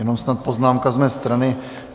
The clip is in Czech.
Jenom snad poznámka z mé strany.